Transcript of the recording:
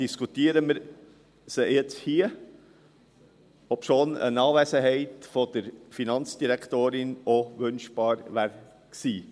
Diskutieren wir sie jetzt hier, obwohl eine Anwesenheit der Finanzdirektorin wünschenswert gewesen wäre.